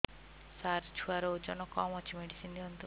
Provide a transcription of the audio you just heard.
ସାର ଛୁଆର ଓଜନ କମ ଅଛି ମେଡିସିନ ଦିଅନ୍ତୁ